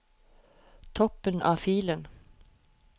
Toppen av filen